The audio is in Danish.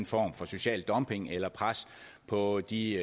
form for social dumping eller pres på de